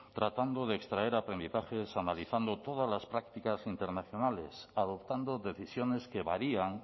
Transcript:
tratando de extraer aprendizajes analizando todas las prácticas internacionales adoptando decisiones que varían